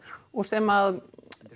og sem